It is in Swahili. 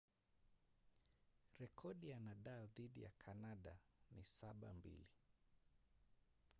rekodi ya nadal dhidi ya kanada ni 7-2